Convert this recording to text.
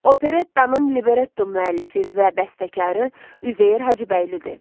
Operettanın libretto müəllifi və bəstəkarı Üzeyir Hacıbəylidir.